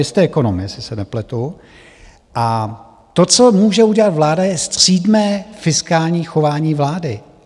Vy jste ekonom, jestli se nepletu, a to, co může udělat vláda, je střídmé fiskální chování vlády.